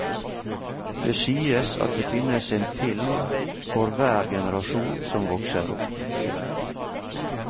Det sies at det finnes en film for hver generasjon som vokser opp.